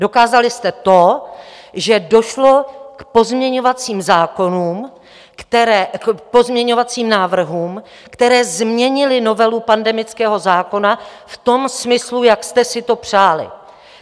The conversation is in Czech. Dokázali jste to, že došlo k pozměňovací návrhům, které změnily novelu pandemického zákona v tom smyslu, jak jste si to přáli.